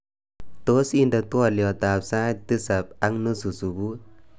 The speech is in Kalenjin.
Tos indenee twoliotab sait tisab ak nusu subui